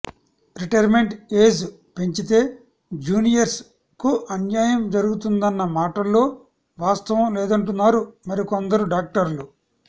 retirement age పెంచితే juniors కు అన్యాయం జరుగుతుందన్న మాటల్లో వాస్తవం లేదంటున్నారు మరికొందరు డాక్టర్లు